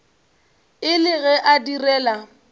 e le ge a direla